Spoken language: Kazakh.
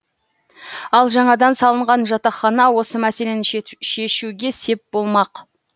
ал жаңадан салынған жатақхана осы мәселені шешуге сеп болмақ